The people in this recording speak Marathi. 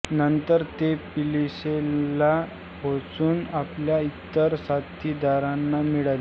नंतर ते पिल्सेनला पोहचुन आपल्या इतर साथीदारांना मिळाले